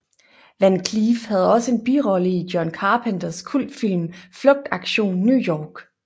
Van Cleef havde også en birolle i John Carpenters kultfilm Flugtaktion New York